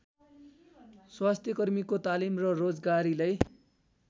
स्वास्थ्यकर्मीको तालिम र रोजगारीलाई